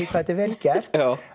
þetta er vel gert